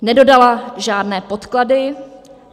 Nedodala žádné podklady.